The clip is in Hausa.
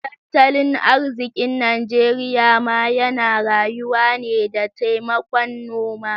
Tattalin arzikin Najeriya ma yana rayuwa ne da taimakon noma.